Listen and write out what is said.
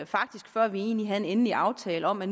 faktisk før vi egentlig havde en endelig aftale om at